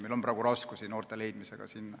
Meil on praegu raskusi noorte leidmisega.